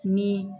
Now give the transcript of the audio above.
Ni